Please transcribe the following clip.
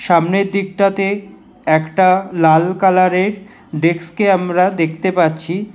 সামনের দিকটাতে একটা লাল কালারের ডেস্কে আমরা দেখতে পাচ্ছি।